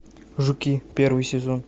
жуки первый сезон